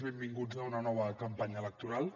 benvinguts a una nova campanya electoral